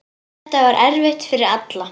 Þetta var erfitt fyrir alla.